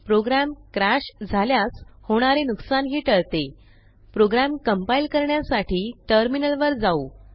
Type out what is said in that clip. program crash झाल्यास होणारे नुकसानही टळते प्रोग्रॅम कंपाइल करण्यासाठी टर्मिनलवर जाऊ